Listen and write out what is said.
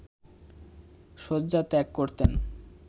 শয্যা ত্যাগ করতেন